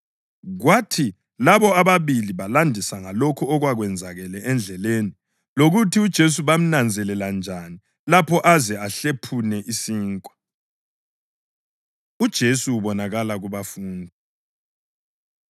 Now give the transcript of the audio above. Kwathi labo ababili balandisa ngalokho okwakwenzakele endleleni, lokuthi uJesu bamnanzelela njani lapho aze ahlephune isinkwa. UJesu Ubonakala KubaFundi